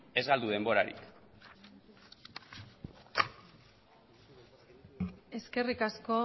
ez galdu denborarik eskerrik asko